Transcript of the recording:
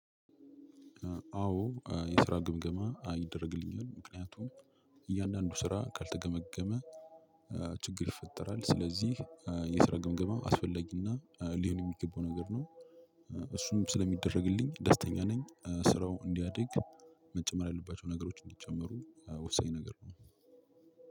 አዎ የስራ ግምገማ ይደረግልኛል ምክንያቱም እያንዳንዱ ስራ ካልተገመገመ ችግር ይፈጠራል። ስለዚህ የስራ ግምገማ አስፈላጊና ሊሆን የሚገባው ነገር ነው። እሱም ስለሚደረግልኝ ደስተኛ ነኝ። ስራው እንዲያድግ መጨመር ያለባቸው ነገሮች እንዲጨመሩ ወሳኝ ነገር ነው።